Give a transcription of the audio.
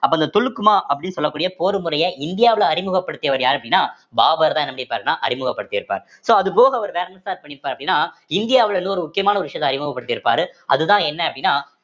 அப்ப அந்த துலுக்குமா அப்படின்னு சொல்லக்கூடிய போர் முறை இந்தியாவுல அறிமுகப்படுத்தியவர் யாரு அப்படின்னா பாபர்தான் என்ன பண்ணியிருப்பாருன்னா அறிமுகப்படுத்தி இருப்பார் so அது போக அவர் வேற என்ன sir பண்ணிருப்பார் அப்படின்னா இந்தியாவுல இன்னொரு முக்கியமான விஷயத்த அறிமுகப்படுத்தி இருப்பாரு அதுதான் என்ன அப்படின்னா